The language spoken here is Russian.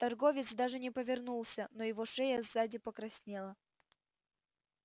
торговец даже не повернулся но его шея сзади покраснела